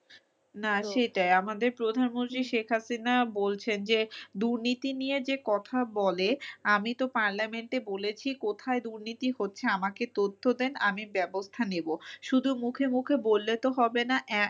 না সেটাই আমাদের প্রধান মন্ত্রী শেখ হাসিনা বলছেন যে দুর্নীতি নিয়ে যে কথা বলে আমি তো parliament বলেছি কোথায় দুর্নীতি হচ্ছে আমাকে তথ্য দেন আমি ব্যাবস্থা নিবো। শুধু মুখে মুখে বললে তো হবে না আহ